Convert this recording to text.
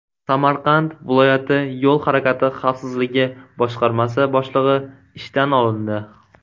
Samarqand viloyati Yo‘l harakati xavfsizligi boshqarmasi boshlig‘i ishdan olindi.